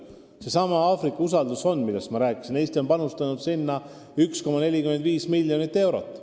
Näiteks seesama Aafrika usaldusfond, millest ma rääkisin – Eesti on panustanud sinna 1,45 miljonit eurot.